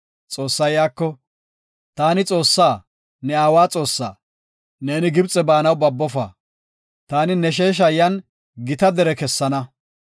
Xoossay iyako, “Taani Xoossaa, ne aawa Xoossa; neeni Gibxe baanaw babofa. Ta ne sheesha yan gita dere kessana.